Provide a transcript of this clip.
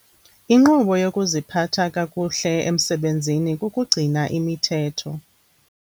Inqobo yokuziphatha kakuhle emsebenzini kukugcina imithetho.